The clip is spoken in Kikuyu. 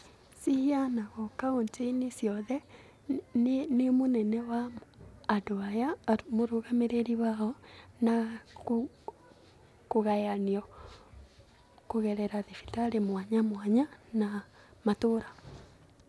Ciheanagwo kauntĩ-inĩ ciothe nĩ mũnene wa andũ aya, arĩ mũrũgamĩrĩri wao na kũgayanio kũgerera thibitarĩ mwanya mwanya na matũũra.